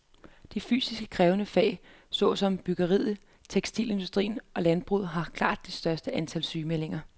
De fysisk krævende fag så som byggeriet, tekstilindustrien og landbruget har klart det største antal sygemeldinger.